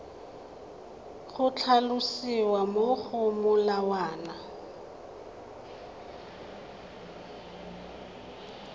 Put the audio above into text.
go tlhalosiwa mo go molawana